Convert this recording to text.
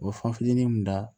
U bɛ fan fitinin mun da